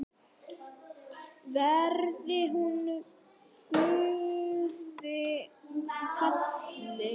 Verði hún Guði falin.